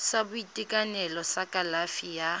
sa boitekanelo sa kalafi ya